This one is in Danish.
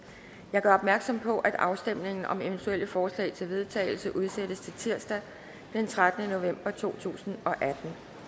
jeg gør opmærksom på at afstemning om eventuelle forslag til vedtagelse udsættes til tirsdag den trettende november to tusind og atten